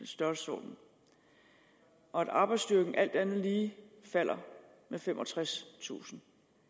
størrelsesorden og at arbejdsstyrken alt andet lige falder med femogtredstusind